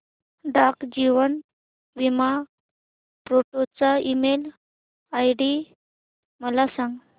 डाक जीवन बीमा फोर्ट चा ईमेल आयडी मला सांग